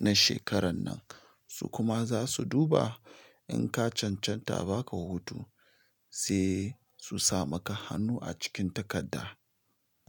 na shekaran nan. To kuma za su duba in ka cancanta a baka hutu, sai a su sa maka hannu a cikin takarda.